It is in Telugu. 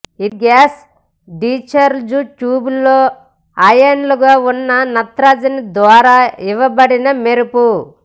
ఇది గ్యాస్ డిచ్ఛార్జ్ ట్యూబ్లో అయాన్లుగా ఉన్న నత్రజని ద్వారా ఇవ్వబడిన మెరుపు